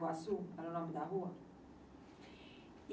Era o nome da rua?